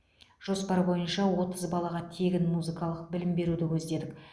жоспар бойынша отыз балаға тегін музыкалық білім беруді көздедік